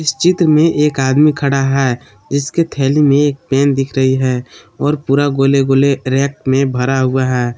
चित्र में एक आदमी खड़ा है इसके थैली में एक पेन दिख रही है और पूरा गोले गोले रैक में भरा हुआ है।